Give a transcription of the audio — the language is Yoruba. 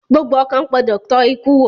Gbogbo ọkàn gbọdọ tọ́ ikú wò